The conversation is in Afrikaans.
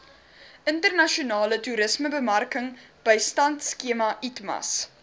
internasionale toerismebemarkingbystandskema itmas